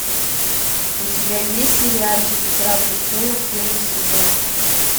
у тебя есть сериальчик игра престолов первый сезон